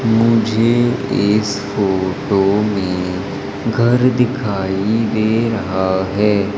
मुझे इस फोटो में घर दिखाई दे रहा है।